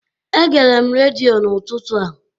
Egere m redio n'ụtụtụ a